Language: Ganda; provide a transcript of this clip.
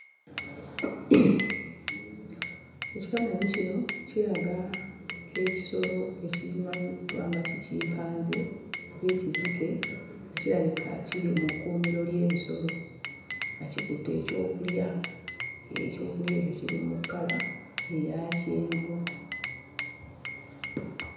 Ekifaananyi kino kiraga ekisolo ekimanyiddwa nga ki kimpanze oba ekizike nga kirabika kiri mu kkuumiro ly'ebisolo, nga kikutte ekyokulya. Ekyokulya ekyo kiri mu kkala eya kyenvu.